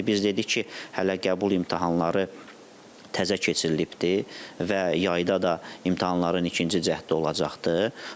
Bax indi biz dedik ki, hələ qəbul imtahanları təzə keçirilibdir və yayda da imtahanların ikinci cəhdi olacaqdır.